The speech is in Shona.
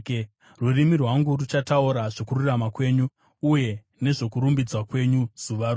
Rurimi rwangu ruchataura zvokururama kwenyu, uye nezvokurumbidzwa kwenyu zuva rose.